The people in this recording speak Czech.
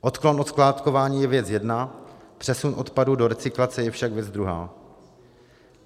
Odklon od skládkování je věc jedna, přesun odpadu do recyklace je však věc druhá.